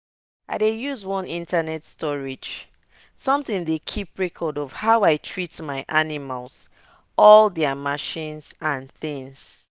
i dey use one internet storage something dey keep record of how i treat my animals all their medicine and things.